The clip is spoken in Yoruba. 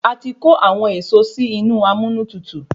A ti kò awọn èso si inú amúnútutù